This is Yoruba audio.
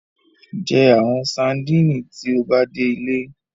Jẹ awọn sadinit ti o ba de ile